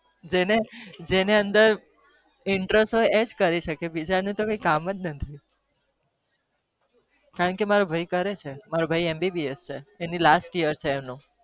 જેને અંદર interest એજ કરી શકે કારણ કે મેરો ભાઈ કરે છે બીજા નું તો કોઈ કામ નથી